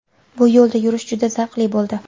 Bu yo‘lda yurish juda zavqli bo‘ldi.